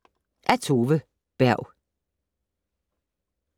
Af Tove Berg